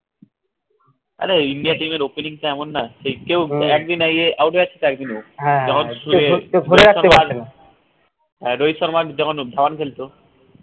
আরে india team এর opening টা এমন না যে কেউ একদিন আগে out হয়ে যাচ্ছে হ্যাঁ রহিত শর্মা যখন ধাবান খেলত